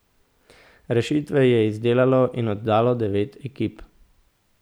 Rešitve je izdelalo in oddalo devet ekip.